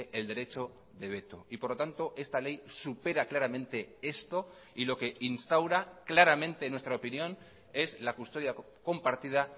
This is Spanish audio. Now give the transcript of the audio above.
el derecho de veto y por lo tanto esta ley supera claramente esto y lo que instaura claramente en nuestra opinión es la custodia compartida